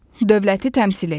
Dövləti təmsil edir.